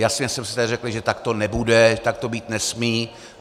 Jasně jsme si tady řekli, že tak to nebude, tak to být nesmí.